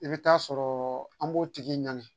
I bɛ taa sɔrɔ an b'o tigi ɲani